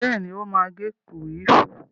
Bẹ́ẹ̀ni, ó má agé kúwìfù